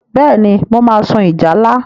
Bẹ́ẹ̀ni, mo máa sun ìjálá.